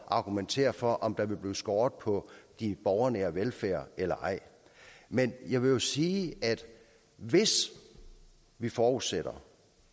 argumentere for om der vil blive skåret på borgernær velfærd eller ej men jeg vil sige at hvis vi forudsætter